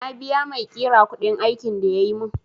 Na biya maiƙira kuɗin aikin da yayi mun